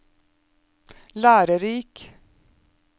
lærerik